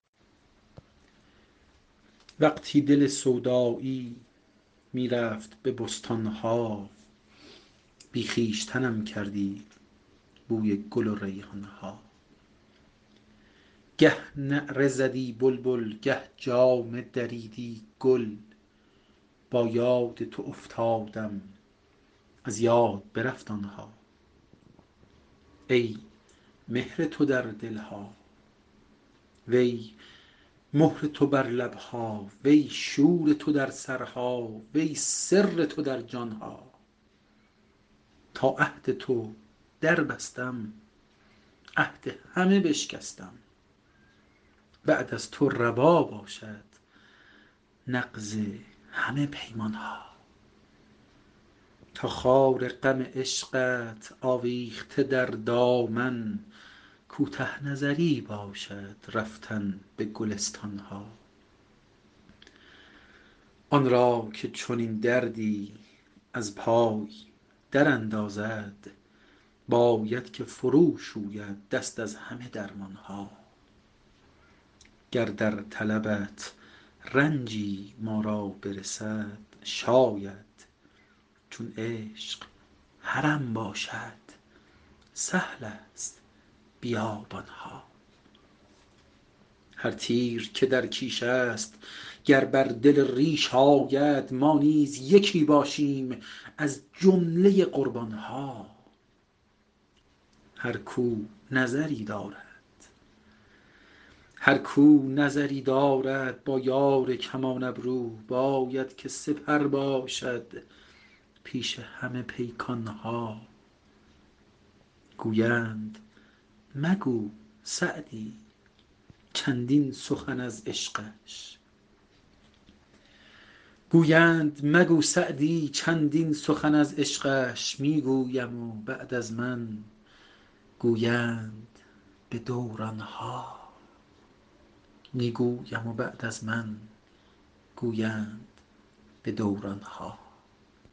وقتی دل سودایی می رفت به بستان ها بی خویشتنم کردی بوی گل و ریحان ها گه نعره زدی بلبل گه جامه دریدی گل با یاد تو افتادم از یاد برفت آن ها ای مهر تو در دل ها وی مهر تو بر لب ها وی شور تو در سرها وی سر تو در جان ها تا عهد تو دربستم عهد همه بشکستم بعد از تو روا باشد نقض همه پیمان ها تا خار غم عشقت آویخته در دامن کوته نظری باشد رفتن به گلستان ها آن را که چنین دردی از پای دراندازد باید که فروشوید دست از همه درمان ها گر در طلبت رنجی ما را برسد شاید چون عشق حرم باشد سهل است بیابان ها هر تیر که در کیش است گر بر دل ریش آید ما نیز یکی باشیم از جمله قربان ها هر کاو نظری دارد با یار کمان ابرو باید که سپر باشد پیش همه پیکان ها گویند مگو سعدی چندین سخن از عشقش می گویم و بعد از من گویند به دوران ها